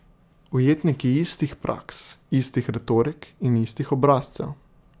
Ujetniki istih praks, istih retorik in istih obrazcev.